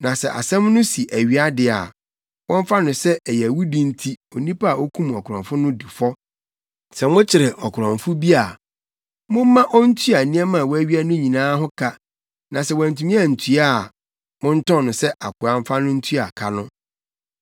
Na sɛ asɛm no si awia de a, wɔmfa no sɛ ɛyɛ awudi enti onipa a okum ɔkorɔmfo no di fɔ. “Sɛ mokyere ɔkorɔmfo bi a, momma ontua nneɛma a wawia no nyinaa ho ka na sɛ wantumi antua a, montɔn no sɛ akoa mfa no ntua ka no.